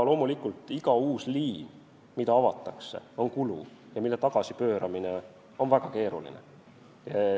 Loomulikult iga uus liin, mis avatakse, on kulu ja selle tagasipööramine on väga keeruline.